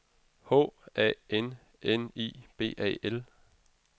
H A N N I B A L